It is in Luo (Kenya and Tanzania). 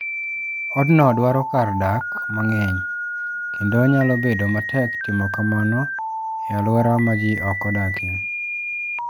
Odno dwaro kar dak mang'eny, kendo nyalo bedo matek timo kamano e alwora ma ji ok odakie.